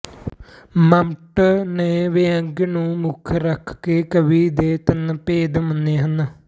ਮੰਮਟ ਨੇ ਵਿਅੰਗ ਨੂੰ ਮੁਖ ਰੱਖ ਕੇ ਕਾਵਿ ਦੇ ਤਿੰਨ ਭੇਦ ਮੰਨੇ ਹਨ